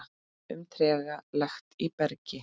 um trega lekt í bergi.